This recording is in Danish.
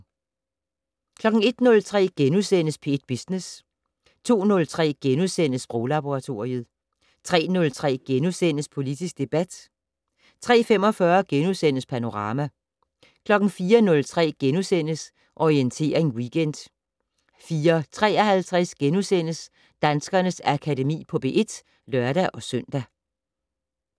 01:03: P1 Business * 02:03: Sproglaboratoriet * 03:03: Politisk debat * 03:45: Panorama * 04:03: Orientering Weekend * 04:53: Danskernes Akademi på P1 *(lør-søn)